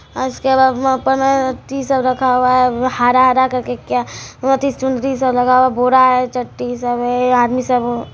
और उसके बाद मे अपन है टीशर्ट रखा हुआ है हरा-हरा करके क्या वो चुनरी सब लगा हुआ है बोरा हैं चड्डी सब हैं यह आदमी सब--